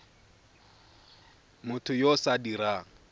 motho yo o sa dirang